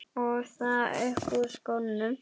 Og það upp úr skónum!